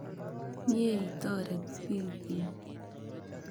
Mye itoret piik kuuk.